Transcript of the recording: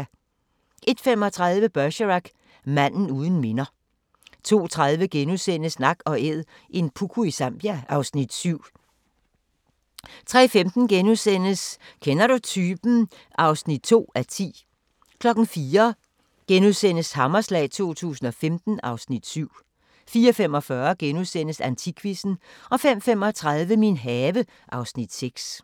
01:35: Bergerac: Manden uden minder 02:30: Nak & Æd – en puku i Zambia (Afs. 7)* 03:15: Kender du typen? (2:10)* 04:00: Hammerslag 2015 (Afs. 7)* 04:45: Antikquizzen * 05:35: Min have (Afs. 6)